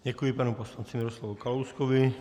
Děkuji panu poslanci Miroslavu Kalouskovi.